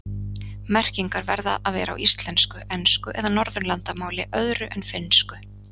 Merkingar verða að vera á íslensku, ensku eða Norðurlandamáli öðru en finnsku.